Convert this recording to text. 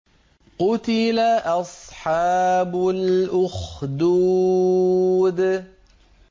قُتِلَ أَصْحَابُ الْأُخْدُودِ